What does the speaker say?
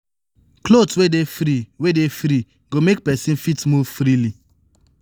cloth wey dey free wey dey free go make person fit move freely